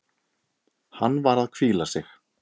Hann var að hvíla sig.